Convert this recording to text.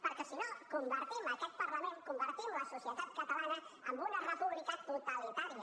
perquè si no convertim aquest parlament convertim la societat catalana en una república totalitària